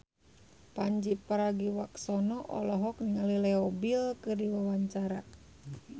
Pandji Pragiwaksono olohok ningali Leo Bill keur diwawancara